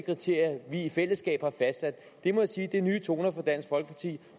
kriterier vi i fællesskab har fastsat må jeg sige er nye toner fra dansk folkeparti